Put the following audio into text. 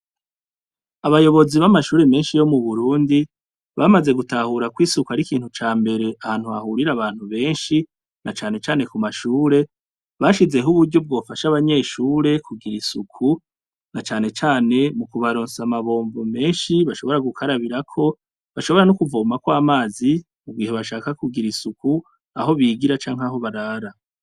Abayobozi b'amashure menshi yo mu burundi bamaze gutahura kw'isuku ari ikintu ca mbere ahantu hahurira abantu benshi na canecane ku mashure bashizeho uburyo bwofasha abanyeshure kugira isuku na canecane mu kubaronsa amabombo menshi bashobora gukarabirako bashobora no ukuvoma kw' amazi i mu gihe bashaka kugira isuku aho bigira canke aho barara.